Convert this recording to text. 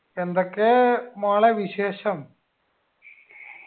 എന്തൊക്കെ മോളെ വിശേഷം